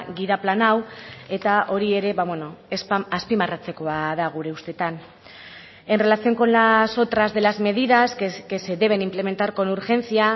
gida plan hau eta hori ere azpimarratzekoa da gure ustetan en relación con las otras de las medidas que se deben implementar con urgencia